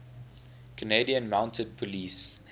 canadian mounted police